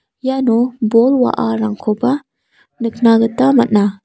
iano bol wa·arangkoba nikna gita man·a.